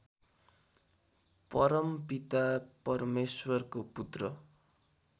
परमपिता परमेश्वरको पुत्र